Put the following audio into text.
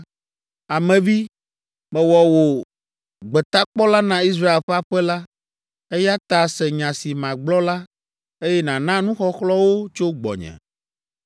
“Ame vi, mewɔ wò gbetakpɔla na Israel ƒe aƒe la, eya ta se nya si magblɔ la, eye nàna nuxɔxlɔ̃ wo tso gbɔnye.